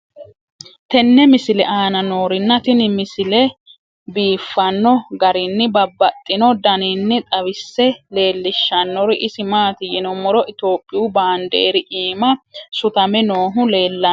tenne misile aana noorina tini misile biiffanno garinni babaxxinno daniinni xawisse leelishanori isi maati yinummoro ithiopiyu baandeeri iimma suttame noohu leelanno